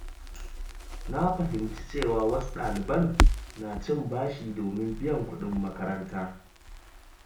Na fahimci cewa wasu ɗaliban na cin bashi domin biyan kuɗin makaranta.